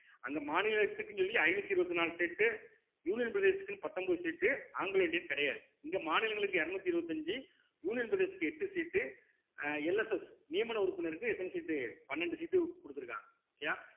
அங்க மாநிலத்துக்குன்னு சொல்லி ஐநூத்தி இருவத்தி நாலு seatunion பிரதேசத்துக்குன்னு பத்தொன்பது seat ஆங்கிலோ இந்தியன் கிடையாது இங்க மாநிலங்களுக்கு இருநூத்தி இருவத்தஞ்சு union பிரதேசத்துக்கு எட்டு seat உ அஹ் LSS நியமன உறுப்பினருக்கு எத்தன seat பன்னெண்டு seat கொடுத்திருக்காங்க okay யா